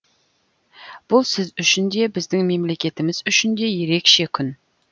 бұл сіз үшін де біздің мемлекетіміз үшін де ерекше күн